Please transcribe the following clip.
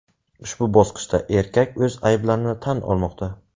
Ushbu bosqichda erkak o‘z ayblarini tan olmoqda.